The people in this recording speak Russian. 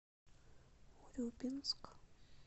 урюпинск